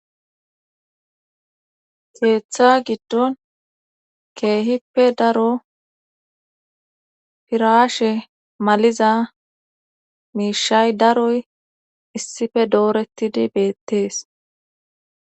Keeththa giddon keehippe daro piraashe maliza miishay daroy issippe doorettidi beettees.